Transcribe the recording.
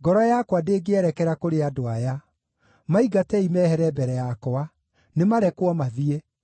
ngoro yakwa ndĩngĩerekera kũrĩ andũ aya. Maingatei mehere mbere yakwa! Nĩmarekwo mathiĩ!